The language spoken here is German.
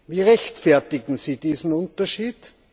Wie rechtfertigen Sie diesen Unterschied?